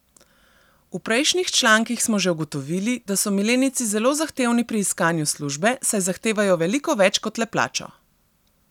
V prejšnjih člankih smo že ugotovili, da so milenijci zelo zahtevni pri iskanju službe, saj zahtevajo veliko več kot le plačo.